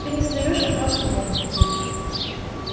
ты не задаёшь вопросов богу